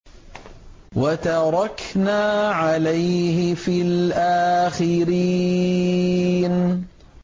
وَتَرَكْنَا عَلَيْهِ فِي الْآخِرِينَ